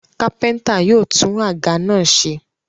Kápẹ́ńtà yóò tún àga náà ṣe.